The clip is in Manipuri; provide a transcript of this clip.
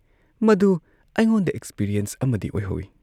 ꯃꯗꯨ ꯑꯩꯉꯣꯟꯗ ꯑꯦꯛꯁꯄꯤꯔꯤꯌꯦꯟꯁ ꯑꯃꯗꯤ ꯑꯣꯏꯍꯧꯏ ꯫